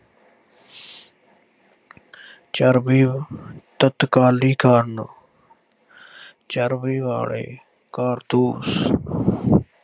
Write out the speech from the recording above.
ਚਰਬੀ, ਤਤਕਾਲੀ ਕਾਰਨ। ਚਰਬੀ ਵਾਲੇ ਕਾਰਤੂਸ